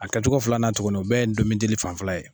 A kɛcogo filanan tuguni o bɛɛ ye ndomidili fanfɛla ye.